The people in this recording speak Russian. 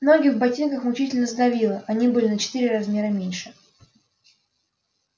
ноги в ботинках мучительно сдавило они были на четыре размера меньше